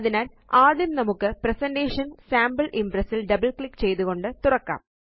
അതിനാല് ആദ്യം നമുക്ക് പ്രസന്റേഷൻ സാംപിൾ Impressൽ double ക്ലിക്ക് ചെയ്തുകൊണ്ട് തുറക്കാം